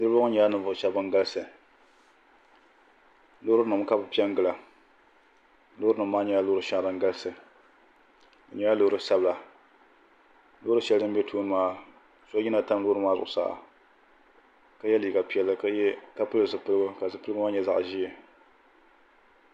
niriba ŋɔ nyɛla ninvuɣ' shɛba ban galisi lori nim ka be pɛngila lori nim maa nyɛla lori shɛŋa din galisi be nyɛla lori sabinli lori shɛli din bɛ tuuni maa so yina tam di zuɣ saa ka yɛ liga piɛli ka pɛli zibiligu maa nyɛ zaɣ ʒiɛ